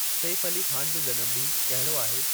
safe Ali Khan जो जनमु ॾींहुं कहिड़ो आहे